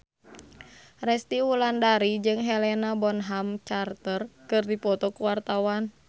Resty Wulandari jeung Helena Bonham Carter keur dipoto ku wartawan